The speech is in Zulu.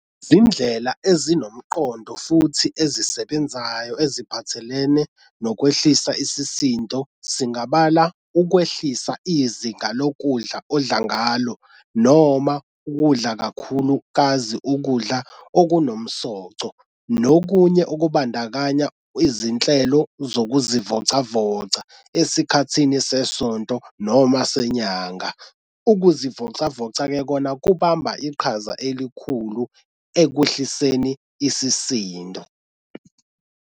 Izindlela ezinomqondo futhi ezisebenzayo eziphathelene nokwehlisa isisindo singabala ukwehlisa izinga lokudla odla ngalo noma ukudla kakhulukazi ukudla okunomsoco nokunye okubandakanya izinhlelo zokuzivocavoca esikhathini sesonto noma senyanga. Ukuzivocavoca-ke kona kubamba iqhaza elikhulu ekwehliseni isisindo.